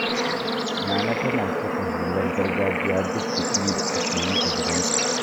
Nana tana saka hular gargajiya duk bikin da ake yi a gidansu.